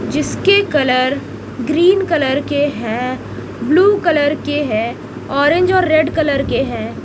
जिसके colour green colour के है ब्ल्यू कलर के है ऑरेंज और रेड कलर के है।